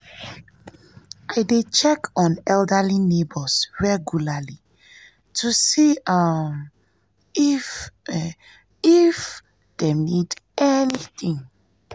i dey check um on elderly neighbors regularly to see um if um if um dem need anything.